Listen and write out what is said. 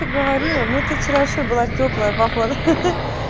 ты говорила ну ты вчера вообще была тёплая походу ха-ха